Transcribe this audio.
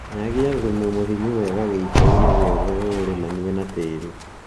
Nyagia thumu mũhinyu wega gĩitoinĩ giothe ũũrĩmanie na tĩri